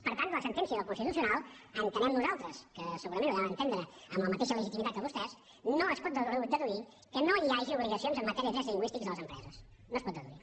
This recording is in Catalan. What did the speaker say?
per tant de la sentència del constitucional entenem nosaltres que segurament ho devem entendre amb la mateixa legitimitat que vostès no es pot deduir que no hi hagi obligacions en matèria de drets lingüístics de les empreses no es pot deduir